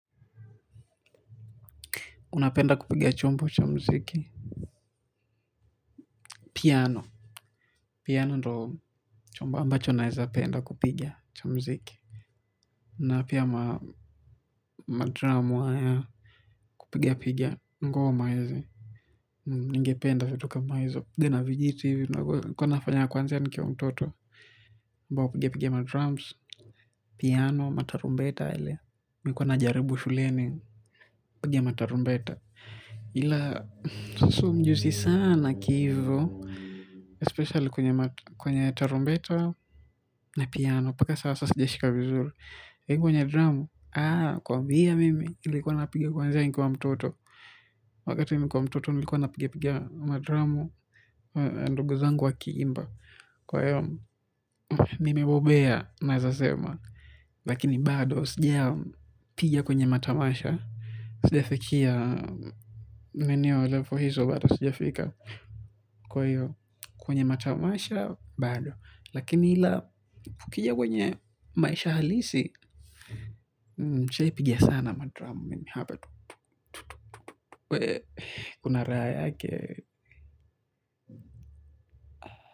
Unapenda kupiga chombo cha mziki. Piano. Piano ndo chombo ambacho naeza penda kupiga cha muziki. Na pia madramu haya kupiga piga. Ngoma hizi. Ningependa vitu kama hizo. Debe na vijiti hivi. Nilikuwa nafanya kuanzia nikiwa mtoto. Mbao piga piga madrams. Piano. Matarumbeta ile. Nilikuwa najaribu shuleni. Piga matarumbeta. Ila. Mi sio mjuzi sana kihivo Espesiali kwenye tarumbeta na piano, mpaka sasa sijashika vizuri. Kwenye dramu, aa kwambia mimi ile ilikuwa napiga kwanzia nikiwa mtoto. Wakati nilikuwa mtoto nilikuwa napiga piga madramu. Ndugu zangu wakiimba, kwa hiyo nimebobea naeza sema. Lakini bado sijapiga kwenye matamasha. Sijafikia maeneo ya level hizo bado sijafika, kwa hio kwenye matamasha, bado. Lakini ila ukija kwenye maisha halisi nishaipiga sana madramu mimi hapa tu. Kuna raha yake wewe.